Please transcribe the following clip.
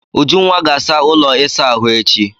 Ujunwa ga-asa ụlọ ịsa ahụ echi.